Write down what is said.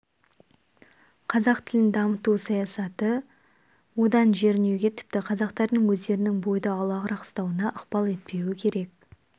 қазақ тілін дамыту саясаты одан жерінуге тіпті қазақтардың өздерінің бойды аулағырақ ұстауына ықпал етпеуі керек